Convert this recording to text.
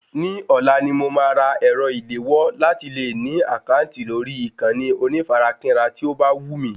Ní ọ̀la ni mo máa ra ẹ̀rọ ìléwọ́ láti lè ní àkáǹtì lórí ìkànnì onífarakínra tí ó bá wù mí